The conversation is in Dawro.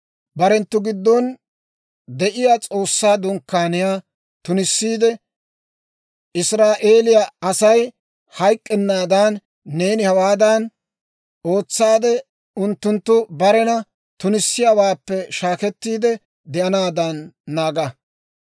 « ‹Barenttu giddon de'iyaa S'oossaa Dunkkaaniyaa tunissiide Israa'eeliyaa Asay hayk'k'ennaadan, neeni hawaadan ootsaade unttunttu barena tunissiyaawaappe shaakettiide de'anaadan naaga.